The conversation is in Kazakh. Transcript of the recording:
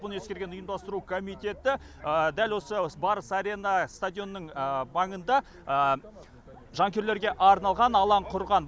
бұны ескерген ұйымдастыру комитеті дәл осы барыс арена стадионының маңында жанкүйерлерге арналған алаң құрған